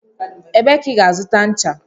Ebee ka ị ga-azụta ncha?